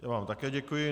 Já vám také děkuji.